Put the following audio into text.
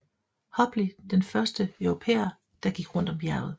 Hobley den første europæer der gik rundt om bjerget